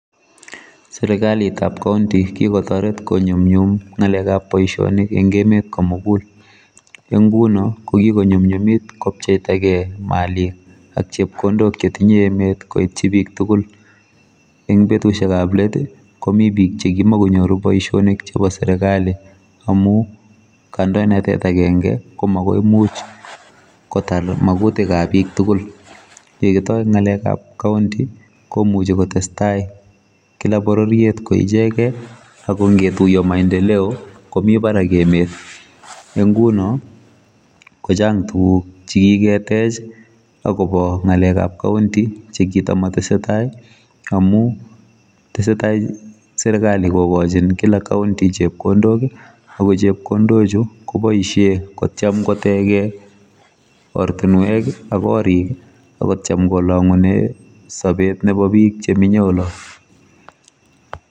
Serukalitab county kikotoret konyumnyum ngalekab boisionik eng emet komugul eng nguno kokikonyumnyumit kopcheitagei malik ak chepkondok chetinye emet koityi bik tugul eng betusiekab let kokimi bik che kimkonyoru boisionik chebo serikali amu kandoinatet agenge ko magoimuch kotar magutikab bik tugul yekitoi ngalekab county komuchi kotestai kila bororiet koichegei akongetuiyo maendeleo komi barak emet eng nguno kochang tuguk chekiketech akobo ngalekab county chekitomotesetai amu tesetai serikali kokochin kila county chepkondok akochepkondochu koboisie kotyem kotege ortinwek ak korik akotyem kolangune sobet nebo bik chemenye olot.